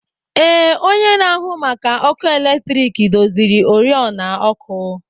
Ee, onye na-ahụ maka ọkụ eletrik doziri oriọna ọkụ.